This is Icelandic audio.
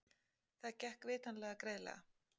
Það gekk vitanlega greiðlega.